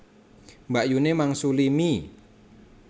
Mbakyune mangsuli mie